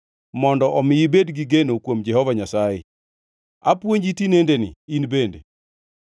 Mondo omi ibed gi geno kuom Jehova Nyasaye; apuonji tinendeni, in bende.